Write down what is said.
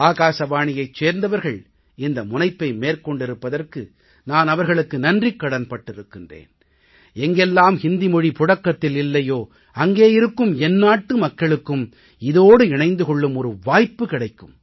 அகில இந்திய வானொலியைச் சேர்ந்தவர்கள் இந்த முனைப்பை மேற்கொண்டிருப்பதற்கு நான் அவர்களுக்குக் நன்றிக்கடன் பட்டிருக்கிறேன் எங்கெல்லாம் இந்தி மொழி புழக்கத்தில் இல்லையோ அங்கே இருக்கும் என் நாட்டு மக்களுக்கும் இதோடு இணைந்து கொள்ளும் வாய்ப்பு கிடைக்கும்